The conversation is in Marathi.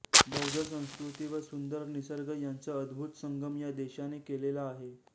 बौद्ध संस्कृती व सुंदर निसर्ग यांचा अद्भूत संगम या देशाने केलेला आहे